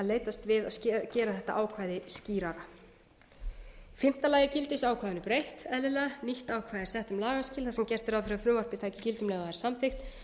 leitast við að gera þetta ákvæði skýrara fimmta gildisákvæðinu er breytt eðlilega nýtt ákvæði er sett um lagaskil og gert er ráð fyrir að frumvarpið taki gildi um leið og það er samþykkt